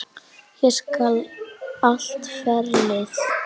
Ég elska allt ferlið.